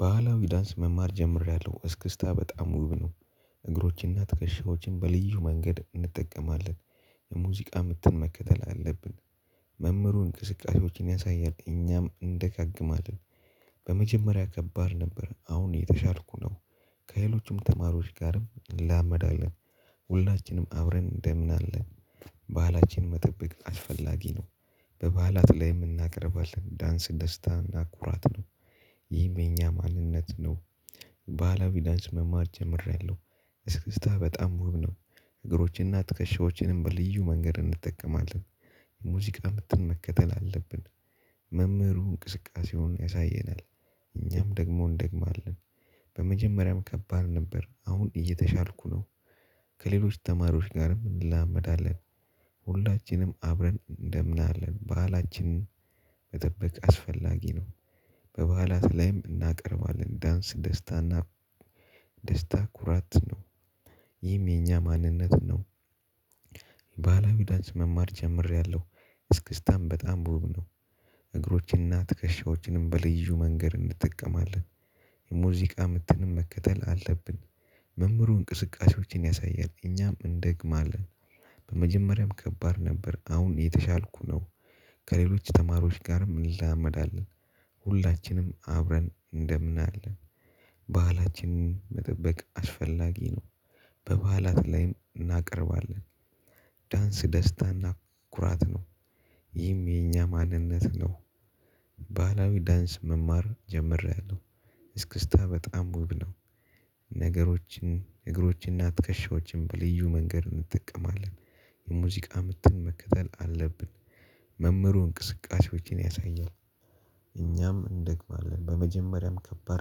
ባህላዊ ዳንስ መማር ጀምሬያለሁ። እስክስታ በጣም ውብ ነው። እግሮችንና ትከሻዎችን በልዩ መንገድ እንጠቀማለን። የሙዚቃ ምትን መከተል አለብን። መምህሩ እንቅስቃሴዎችን ያሳያል። እኛም እንደጋግማለን። በመጀመሪያ ከባድ ነበር አሁን የተሻልኩ ነው ከሌሎቹም ተማሪዎች ጋርም እንላመዳለን። ሁላችንም አብረን እንደምናለን። ባህላችን መጠበቅ አስፈላጊ ነው። በበዓላት ላይ እናቀርባለን ዳንስ ደስታ እና ኩራትንም። ይህም የእኛ ማንነት ነው። ባህላዊ ዳንስ መማር ጀምሬያለሁ። እስክስታ በጣም ውብ ነው። እግሮችንና ትከሻዎችንም በልዩ መንገድ እንጠቀማለን። የሙዚቃ ምትን መከተል አለብን። መምህሩ እንቅስቃሴውን ያሳየናል። እኛም ደግሞ እንደግማለን። በመጀመሪያም ከባድ ነበር አሁን እየተሻልኩ ነው። ከሌሎች ተማሪዎች ጋርም እንላመዳለን። ሁላችንም አብረን እንደምናለን በዓላችንን መጠበቅ አስፈላጊ ነው። በበዓላት ላይም እናቀርባለን። ዳንስ ደስታና ደስታ ኩራት ነው። ይህም የኛ ማንነት ነው። ባህላዊ ዳንስ መማር ጀምሬያለሁ። እስክስታን በጣም ውብ ነው። እግሮችንና ትከሻዎችንም በልዩ መንገድ እንጠቀማለን። የሙዚቃ ምትንም መከተል አለብን። መምህሩ እንቅስቃሴዎችን ያሳያል እኛም እንደግማለን። መጀመሪያም ከባድ ነበር አሁን እየተሻልኩ ነው። ከሌሎች ተማሪዎች ጋርም እንላመዳለን። ሁላችንም አብረን እንደምናለን። ባህላችንን መጠበቅ አስፈላጊ ነው። በባህላት ላይም እናቀርባለን። ዳንስ ደስታና ኩራት ነው። ይህም የኛ ማንነት ነው። ባህላዊ ዳንስ መማር ጀምሬያለሁ። እስክስታ በጣም ውብ ነው። ነገሮችን እግሮችንና ትከሻዎችን በልዩ መንገድ እንጠቀማለን። የሙዚቃ ምትን መከተል አለብን። መምህሩ እንቅስቃሴዎችን ያሳያል። እኛም እንደግማለን በመጀመሪያም ከባድ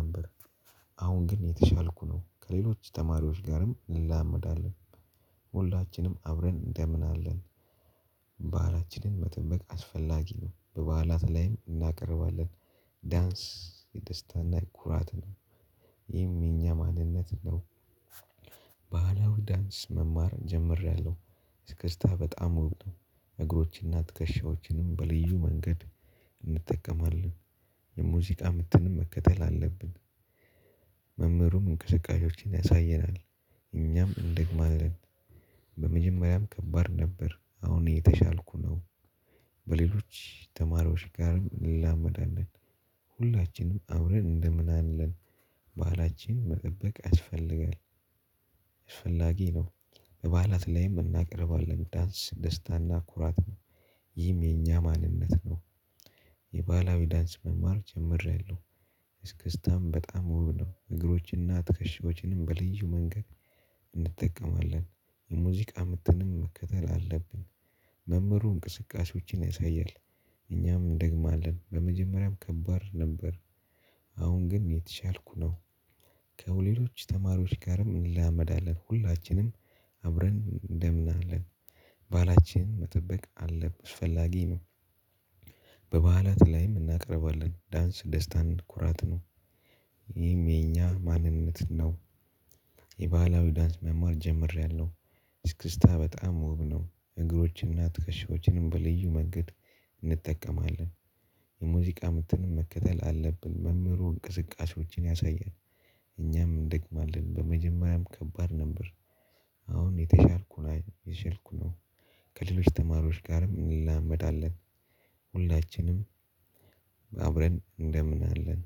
ነበር። አሁን ግን እየተሻልኩ ነው ከሌሎች ተማሪዎች ጋርም እንላመዳለን። ሁላችንም አብረን እንደምናለን። ባህላችንን መጠበቅ አስፈላጊ ነው በባህላት ላይም እናቀርባለን። ዳንስ የደስታና የኩራት ነው። ይሄም የኛ ማንነት ነው። ባህላዊ ዳንስ መማር ጀምሬያለሁ። እስክስታ በጣም ውብ ነው። እግሮችንና ትከሻዎችንም በልዩ መንገድ እንጠቀማለን። የሙዚቃ ምትንም መከተል አለብን። መምህሩም እንቅስቃሴዎችን ያሳየናል። እኛም እንደግማለን። በመጀመሪያም ከባድ ነበር አሁን እየተሻልኩ ነው። በሌሎች ተማሪዎች ጋር እንላመዳለን። ሁላችንም አብረን እንደምናለን። ባህላችን መጠበቅ ያስፈልጋል። አስፈላጊ ነው። በባህላት ላይም እናቀርባለን ዳንስ ደስታና ኩራት ነው። ይህም የኛ ማንነት ነው። የባህላዊ ዳንስ መማር ጀምሪያለሁ። እስክስታም በጣም ውብ ነው። እግሮችንና ትከሻዎችንም በልዩ መንገድ እንጠቀማለን። የሙዚቃ ምትንም መከተል አለብን። መምህሩ እንቅስቃሴዎችን ያሳያል። እኛም እንደግማለን በመጀመሪያም ከባድ ነበር። አሁን ግን እየተሻልኩ ነው። ከሌሎች ተማሪዎች ጋርም እንላመዳለን። ሁላችንም አብረን እንደምናለን። ባህላችን መጠበቅ አለን አስፈላጊ ነው። በባህላት ላይም እናቀርባለን ዳንስ ደስታም ኩራት ነው። ይሄም የኛ ማንነት ነው። የባህላዊ ዳንስ መማር ጀምሬያለሁ። እስክስታ በጣም ውብ ነው። እግሮችንና ጥከሻዎችንም በልዩ መንገድ እንጠቀማለን። የሙዚቃ ምትንም መከተል አለብን መምህሩ እንቅስቃሴዎችን ያሳያል። እኛም እንደግማለን በመጀመሪያም ከባድ ነበር። አሁን እየተሻልኩ እየተሻልኩ ነው። ከሌሎች ተማሪዎች ጋርም እንላመዳለን። ሁላችንም አብረን እንደምን አለን።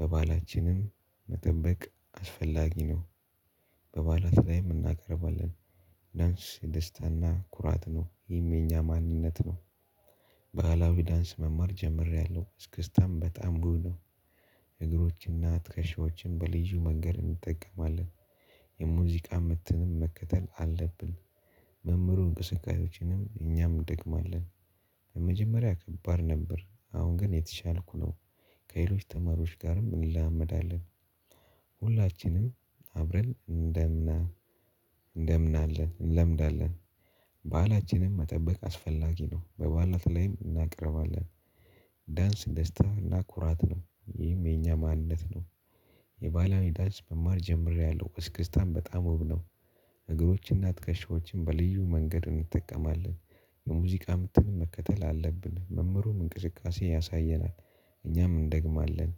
በባህላችንም መጠበቅ አስፈላጊ ነው። በባህላት ላይም እናቀርባለን። ዳንስ ደስታና ኩራት ነው ይህም የእኛ ማንነት ነው። ባህላዊ ዳንስ መማር ጀምሬያለሁ እስክስታም በጣም ውብ ነው። እግሮችና ትከሻዎችን በልዩ መንገድ እንጠቀማለን። የሙዚቃ ምትንም መከተል አለብን። መምህሩ እንቅስቃሴዎችንም እኛም እንደግማለን። በመጀመሪያ ከባድ ነበር አሁን ግን እየተሻልኩ ነው። ከሌሎች ተማሪዎች ጋርም እንለማመዳለን። ሁላችንም አብረን እንደምና እንደምናለን እንለምዳለን። ባህላችንን መጠበቅ አስፈላጊ ነው በባህላት ላይም እናቀርባለን። ዳንስ ደስታ እና ኩራት ነው። ይህም የኛ ማንነት ነው። የባህላዊ ዳንስ መማር ጀምሬያለሁ እስክስታም በጣም ውብ ነው። እግሮችና ትከሻዎችን በልዩ መንገድ እንጠቀማለን። የሙዚቃ ምትን መከተል አለብን መምህሩም እንቅስቃሴ ያሳየናል። እኛም እንደግማለን